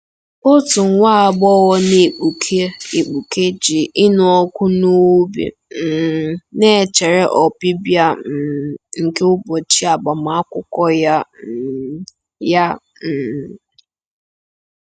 OTU nwa agbọghọ na-egbuke egbuke ji ịnụ ọkụ n'obi um na-echere ọbịbịa um nke ụbọchị agbamakwụkwọ ya um. ya um.